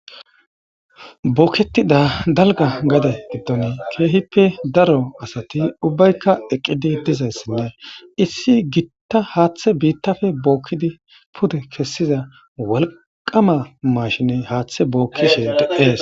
Bookketida dalga gade giddon keehippe daro asati ubbaykka eqqidi dizayssinne issi gitta haaththe biittafe bookkidi pude kessiza walqama mashine haaththe bookkishe deees